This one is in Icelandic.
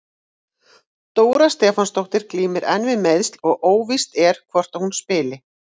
Dóra Stefánsdóttir glímir enn við meiðsli og óvíst er hvort að hún spili.